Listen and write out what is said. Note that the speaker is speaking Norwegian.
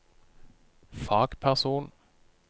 fagperson